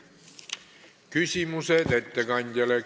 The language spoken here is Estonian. Küsimused ettekandjale.